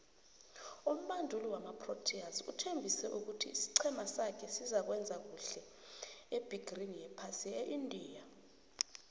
umubanduli wamaproteas uthembise ukuthi isicema sakhe sizokuwenza khuhle ebegerini yephasi eindia